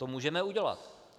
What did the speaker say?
To můžeme udělat.